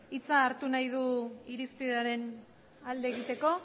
hitza hartu nahi du irizpidearen alde egiteko